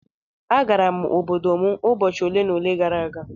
Agara m obodo m ụbọchị ole na ole gara aga.